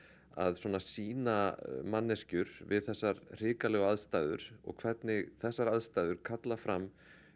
að sýna manneskjur við þessar hrikalegu aðstæður og hvernig þessar aðstæður kalla fram